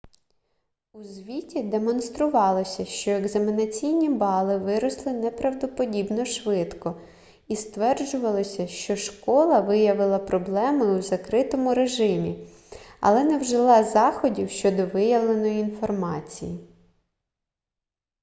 у звіті демонструвалося що екзаменаційні бали виросли неправдоподібно швидко і стверджувалося що школа виявила проблеми у закритому режимі але не вжила заходів щодо виявленої інформації